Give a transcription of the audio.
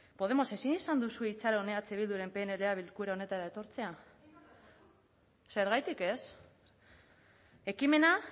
podemos ezin izan duzue itxaron eh bilduren pnla bilkura honetara etortzea zergatik ez ekimena